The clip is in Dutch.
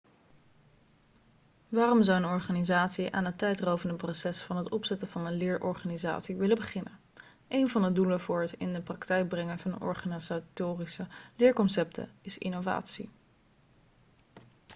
waarom zou een organisatie aan het tijdrovende proces van het opzetten van een leerorganisatie willen beginnen een van de doelen voor het in de praktijk brengen van organisatorische leerconcepten is innovatie